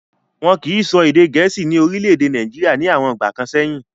Wọ́n kìí sọ èdè gẹ̀ẹ́sì ní orílẹ̀-èdè Nàìjíríà ní àwọn ìgbà kan sẹ́yìn.